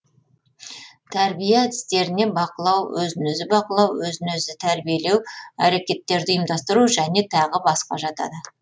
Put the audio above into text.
тәрбие әдістеріне бақылау өзін өзі бақылау өзін өзі тәрбиелеу әрекеттерді ұйымдастыру және тағы басқа жатады